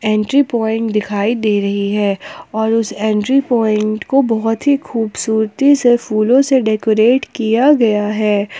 Entry point दिखाई दे रही है और उस एंट्री पॉइंट को बहोत ही खूबसूरती से फूलों से डेकोरेट किया गया है।